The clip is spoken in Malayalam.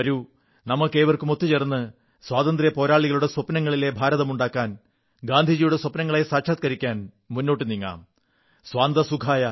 നമുക്കേവർക്കും ഒത്തുചേർന്ന് സ്വാതന്ത്ര്യസമരസേനാനികളുടെ സ്വപ്നങ്ങളിലെ ഭാരതമുണ്ടാക്കാൻ ഗാന്ധിജിയുടെ സ്വപ്നങ്ങളെ സാക്ഷാത്കരിക്കാൻ മുന്നോട്ടുനീങ്ങാം സ്വാന്തഃ സുഖായഃ